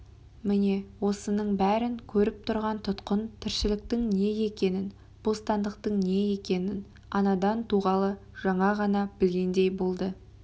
міне осының бәрін көріп тұрған тұтқын тіршіліктің не екенін бостандықтың не екенін анадан туғалы жаңа ғана білгендей болады